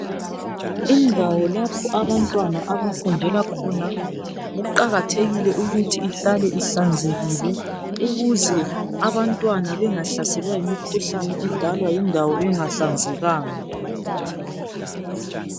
Indawo lapho abantwana abafundela khona kuqakathekile ukuthi ihlale ihlanzekile ukuze abantwana bengahlaselwa yimikhuhlane endalwa yindawo engahlanzrkanga.